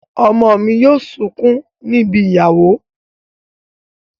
Ọmọ mi yóò sunkún ní ibi ìyàwó.